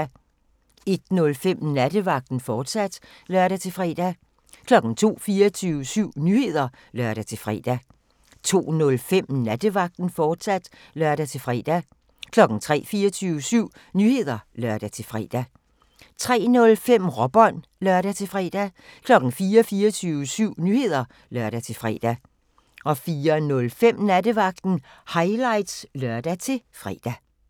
01:05: Nattevagten, fortsat (lør-fre) 02:00: 24syv Nyheder (lør-fre) 02:05: Nattevagten, fortsat (lør-fre) 03:00: 24syv Nyheder (lør-fre) 03:05: Råbånd (lør-fre) 04:00: 24syv Nyheder (lør-fre) 04:05: Nattevagten Highlights (lør-fre)